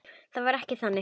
Það var ekkert þannig.